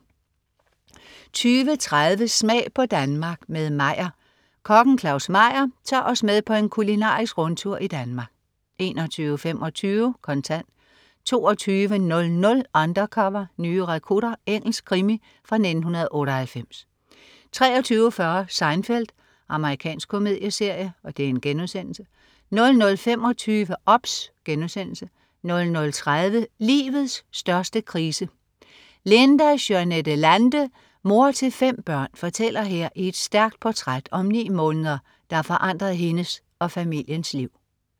20.30 Smag på Danmark. Med Meyer. Kokken Claus Meyer tager os med på en kulinarisk rundtur i Danmark 21.25 Kontant 22.00 Undercover: Nye rekrutter. Engelsk krimi fra 1998 23.40 Seinfeld. Amerikansk komedieserie* 00.25 OBS* 00.30 Livets største krise. Linda Juanette Lande, mor til fem børn, fortæller her i et stærkt portræt om ni måneder, der forandrede hendes og familiens liv